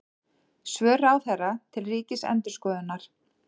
Svör ráðherra til Ríkisendurskoðunar